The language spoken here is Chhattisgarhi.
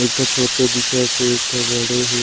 एक ठो छोटे दिखत हे एक ठो बड़े हे।